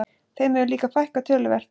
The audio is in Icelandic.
Þeim hefur líka fækkað töluvert